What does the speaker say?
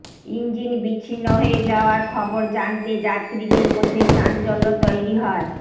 engine বিচ্ছিন্ন হয়ে যাওয়ার খবর জানতে যাত্রীদের মধ্যে চাঞ্চল্য তৈরি হয়